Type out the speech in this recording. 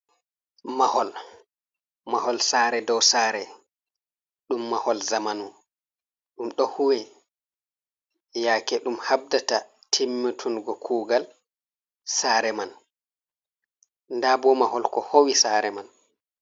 Mahol, Mahol sare dow sare ɗum mahol zamanu ɗum ɗo huwe, yake ɗum habdata timmitungo kugal sare man. nda bo mahol ko howi sare man.